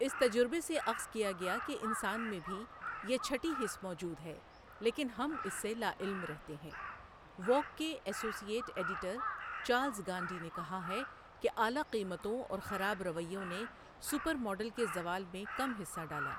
اِس تجربہ سے اخذ کیا گیا کہ انسان میں بهی یہ چهٹی حس موجود ہے لیکن ہم اس سے لاعلم رہتے ہیں ووگ کے associate editor Charles Gandee نے کہا ہے کہ اعلیٰ قیمتوں اور خراب رویوں نے سپر ماڈل کے زوال میں کم حصہ ڈالا۔